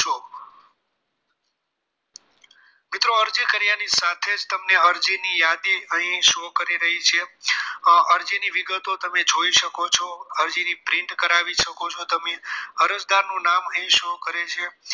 મિત્રો અરજી કર્યા ની સાથે જ અરજી ની યાદી તમને અહીં show કરી રહી છે અરજીની વિગતો તમે જોઈ શકો છો અરજીની print કરાવી શકો છો તમે અરજદારનું નામ અહીં show કરે છે